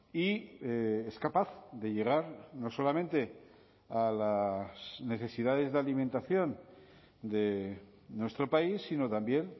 y es capaz de llegar no solamente a las necesidades de alimentación de nuestro país sino también